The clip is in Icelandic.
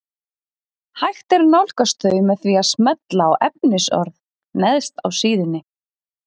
Hægt er að nálgast þau með því að smella á efnisorð neðst á síðunni.